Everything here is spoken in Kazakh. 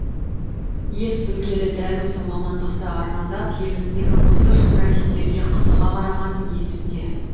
ес білгелі дәл осы мамандықты армандап еліміздегі мықты журналисттерге қызыға қарағаным есімде